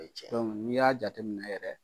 O ye tiɲɛ ye. n'i y'a jateminɛ yɛrɛ